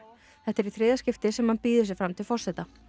þetta er í þriðja skipti sem hann býður sig fram til forseta